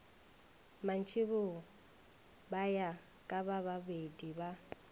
mantšiboa ba ya kabababedi ba